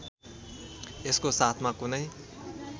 यसको साथमा कुनै